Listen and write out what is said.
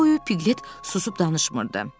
Yol boyu piglet susub danışmırdı.